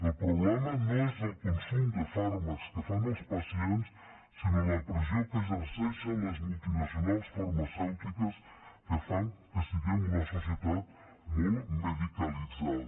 el problema no és el consum de fàrmacs que fan els pacients sinó la pressió que exerceixen les multinacionals farmacèutiques que fan que siguem una societat molt medicalitzada